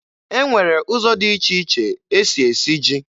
E nwere ụzọ dị iche iche e si esi ji